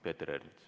Peeter Ernits.